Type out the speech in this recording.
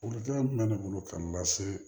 Welewelekan jumɛn bɛ ne bolo k'an lase